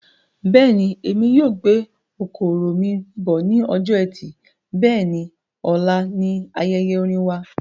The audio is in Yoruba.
Bẹ́ẹ̀ni, èmi yóò gbé okoro mí bọ̀ ní ọjọ ẹtì Bẹ́ẹ̀ni, ọ̀la ní ayẹyẹ orin wa